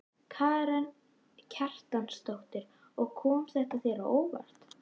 Karen Kjartansdóttir: Og kom þetta þér á óvart?